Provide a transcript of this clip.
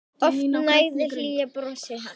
Oft nægði hlýja brosið hans.